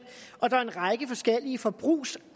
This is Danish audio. og der er en række forskellige forbrugs